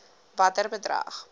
watter bedrag